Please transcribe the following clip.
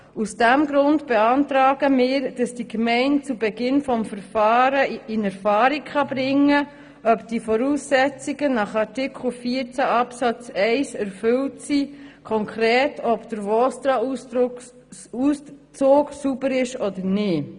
Aus diesem Grund beantragen wir, dass die Gemeinden zu Beginn des Verfahrens in Erfahrung bringen können, ob die Voraussetzungen nach Artikel 14 Absatz 1 erfüllt sind, konkret, ob der VOSTRAAusdruck sauber ist oder nicht.